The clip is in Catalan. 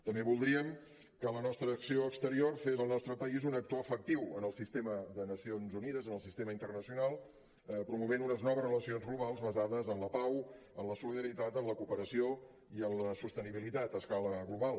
també voldríem que la nostra acció exterior fes del nostre país un actor efectiu en el nostre sistema de les nacions unides en el sistema internacional promovent unes noves relacions globals basades en la pau en la solidaritat en la cooperació i en la sostenibilitat a escala global